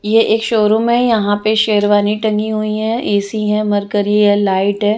यह एक showroom है यहाँ पे शेरवानी टंगी हुई है ऐ_सी है मर्करी है लाईट है।